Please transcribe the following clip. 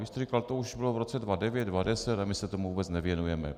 Vy jste říkal: To už bylo v roce 2009, 2010 a my se tomu vůbec nevěnujeme.